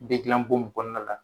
Bɛ gilan bon mun kɔnɔ la